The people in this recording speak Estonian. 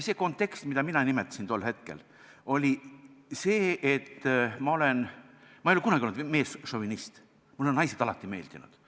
See kontekst, mida mina tol hetkel silmas pidasin, oli see, et ma ei ole kunagi olnud meesšovinist, mulle on naised alati meeldinud.